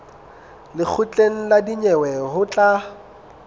lekgotleng la dinyewe ho tla